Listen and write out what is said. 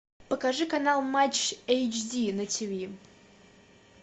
покажи канал матч эйч ди на тиви